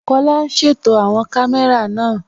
Kọla n ṣétò awọn kàmẹ̀rà náà